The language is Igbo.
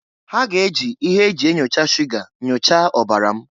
Ha ga-eji ihe e ji enyocha shuga nyochaa ọbara m.